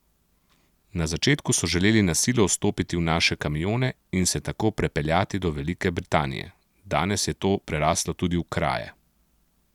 Na začetku so želeli na silo vstopiti v naše kamione in se tako prepeljati do Velike Britanije, danes je to prerastlo tudi v kraje.